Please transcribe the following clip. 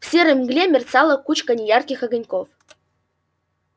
в серой мгле мерцала кучка неярких огоньков